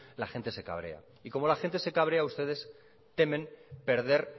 la gente se cabrea y como la gente se cabrea ustedes temen perder